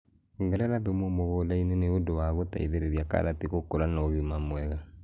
Ongĩrera thũmũ mũgũnda-inĩ nĩ ũndũ wa gũteithĩrĩria karati gũkũra na ũgima mwega.